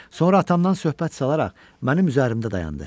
Sonra atamdan söhbət salaraq mənim üzərimdə dayandı.